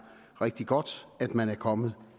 rigtig godt at man er kommet